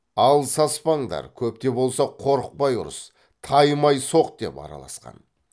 ал саспаңдар көп те болса қорықпай ұрыс таймай соқ деп араласқан